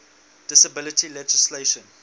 disability legislation